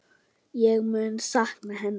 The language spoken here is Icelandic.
Ég mun sakna hennar.